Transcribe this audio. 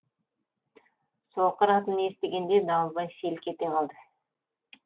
соқыр атын естігенде дауылбай селк ете қалды